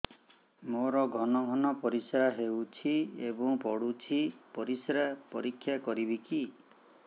ମୋର ଘନ ଘନ ପରିସ୍ରା ହେଉଛି ଏବଂ ପଡ଼ୁଛି ପରିସ୍ରା ପରୀକ୍ଷା କରିବିକି